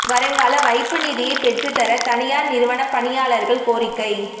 வருங்கால வைப்பு நிதியை பெற்றுத் தர தனியாா் நிறுவனப் பணியாளா்கள் கோரிக்கை